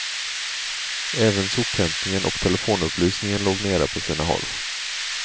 Även sophämtningen och telefonupplysningen låg nere på sina håll.